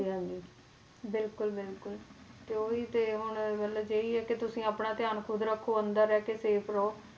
ਹਾਂਜੀ ਬਿਲਕੁਲ ਬਿਲਕੁਲ ਤੇ ਉਹੀ ਤੇ ਹੁਣ ਮਤਲਬ ਇਹੀ ਹੈ ਕਿ ਤੁਸੀਂ ਆਪਣਾ ਧਿਆਨ ਖੁੱਦ ਰੱਖੋ, ਅੰਦਰ ਰਹਿ ਕੇ safe ਰਹੋ,